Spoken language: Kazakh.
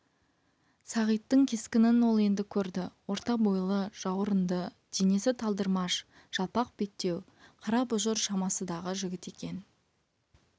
сағиттың кескінін ол енді көрді орта бойлы жауырынды денесі талдырмаш жалпақ беттеу қара бұжыр шамасы дағы жігіт екен